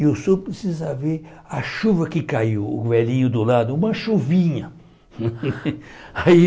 e o senhor precisa ver a chuva que caiu, o velhinho do lado, uma chuvinha. aí